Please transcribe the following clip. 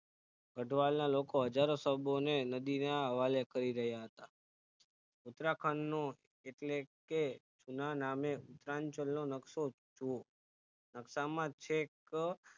ગઠવાલ ના લોકો હજારો શબોને નદીને હવાલે કરી રહ્યા હતા ઉત્તરાખંડનો એટલેકે ઉત્તરાંચલ નો નકશો જુવો નકશામાં છેક